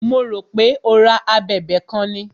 Mo rò pé o ra a abẹ̀bẹ̀ kan ni.